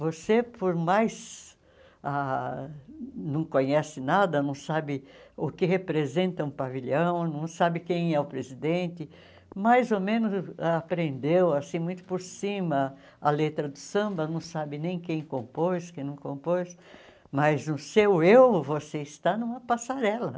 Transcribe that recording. Você, por mais ah não conhece nada, não sabe o que representa um pavilhão, não sabe quem é o presidente, mais ou menos aprendeu assim muito por cima a letra do samba, não sabe nem quem compôs, quem não compôs, mas no seu eu você está numa passarela.